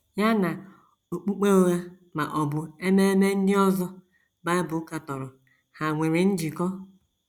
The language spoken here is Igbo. Ya na okpukpe ụgha ma ọ bụ ememe ndị ọzọ Bible katọrọ hà nwere njikọ?